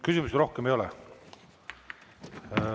Küsimusi rohkem ei ole.